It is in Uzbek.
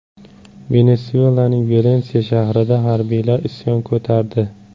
Venesuelaning Valensiya shahrida harbiylar isyon ko‘tardi.